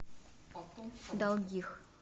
долгих